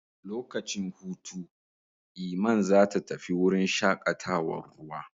Lokacin hutu, Iman zata tafi wurin shaƙatawar ruwa.